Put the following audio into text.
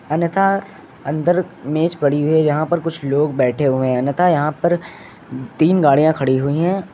अन्यथा अंदर मेज पड़ी है। यहां पर कुछ लोग बैठे हुए हैं अन्यथा यहां पर तीन गाड़ियां खड़ी हुई हैं।